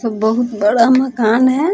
तो बहुत बड़ा मकान है ।